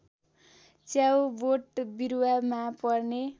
च्याउ बोटबिरूवामा पर्ने